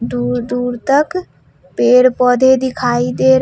दूर दूर तक पेड़ पौधे दिखाई दे--